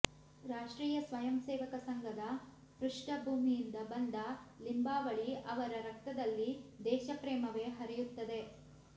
ರಾಷ್ಟ್ರೀಯ ಸ್ವಯಂ ಸೇವಕ ಸಂಘದ ಪೃಷ್ಠ ಭೂಮಿಯಿಂದ ಬಂದ ಲಿಂಬಾವಳಿ ಅವರ ರಕ್ತದಲ್ಲಿ ದೇಶ ಪ್ರೇಮವೆ ಹರಿಯುತ್ತದೆ